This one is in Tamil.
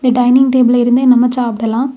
டைனிங் டேபில இருந்தே நம்ம சாப்பிடலாம்.